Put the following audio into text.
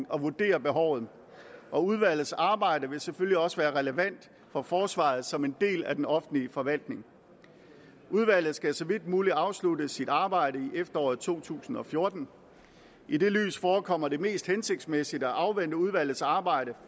og vurdere behovet og udvalgets arbejde vil selvfølgelig også være relevant for forsvaret som en del af den offentlige forvaltning udvalget skal så vidt muligt afslutte sit arbejde i efteråret to tusind og fjorten i det lys forekommer det mest hensigtsmæssigt at afvente udvalgets arbejde